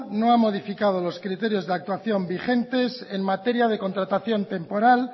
no ha modificado los criterios de actuación vigentes en materia de contratación temporal